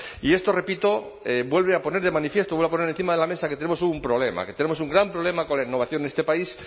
y esto repito vuelve a poner de manifiesto vuelve a poner encima de la mesa que tenemos un problema que tenemos un gran problema con innovación en este país